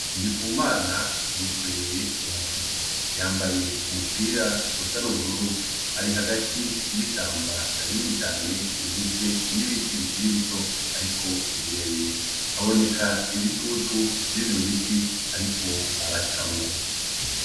Ndikumana yikoreye umufuko, yambaye umupira usa nubururu ari hagati yishamba rinini cane , rigizwe nibiti bikiri bito ariko birebire, haboneka ibitutu vyivyo biti ariko aracamwo.